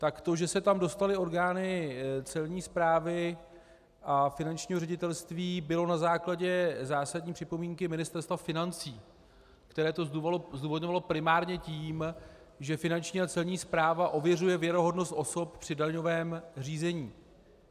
Tak to, že se tam dostaly orgány Celní správy a Finančního ředitelství, bylo na základě zásadní připomínky Ministerstva financí, které to zdůvodňovalo primárně tím, že Finanční a Celní správa ověřuje věrohodnost osob při daňovém řízení.